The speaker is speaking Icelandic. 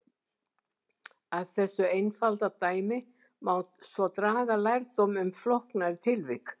Af þessu einfalda dæmi má svo draga lærdóm um flóknari tilvik.